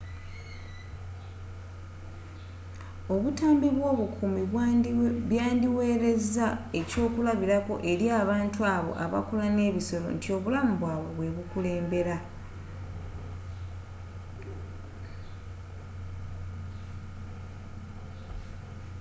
obutambi bw’obukuumi byandiwereza ekyokulabirako eri abantu abo abakola n’ebisolo nti obulamu bwabwe bwe bukulembera.